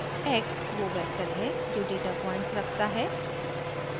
x वो vector है जो डेटा पॉइंट्स रखता है